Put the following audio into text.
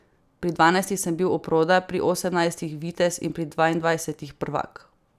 Pri dvanajstih sem bil oproda, pri osemnajstih vitez in pri dvaindvajsetih prvak.